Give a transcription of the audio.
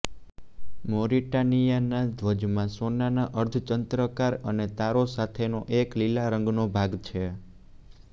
મૌરિટાનિયાના ધ્વજમાં સોનાના અર્ધચંદ્રાકાર અને તારો સાથેનો એક લીલા રંગનો ભાગ છે